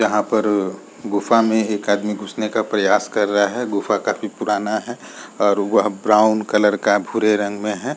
यहां पर गुफा में एक आदमी घुसने का प्रयास कर रहा है गुफा काफ़ी पुराना है और वह ब्राउन कलर का है।